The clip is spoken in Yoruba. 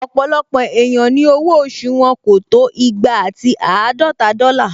Ọ̀pọ̀lọpọ̀ èèyàn ni owó oṣù wọn kò tó igba ati àádọta dọ́là